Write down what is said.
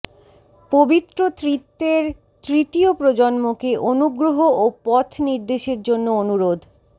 পবিত্র ত্রিত্বের তৃতীয় প্রজন্মকে অনুগ্রহ ও পথনির্দেশের জন্য অনুরোধ